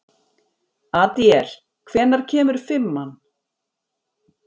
Adíel, hvenær kemur fimman?